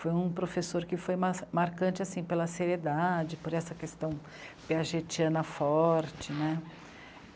Foi um professor que foi marcante pela seriedade, por essa questão piagetiana forte né.